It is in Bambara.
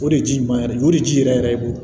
O de ji ɲuman yɛrɛ de don o de ji yɛrɛ yɛrɛ e bolo